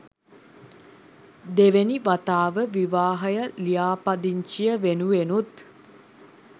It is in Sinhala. දෙවෙනි වතාව විවාහය ලියාපදිංචිය වෙනුවෙනුත්.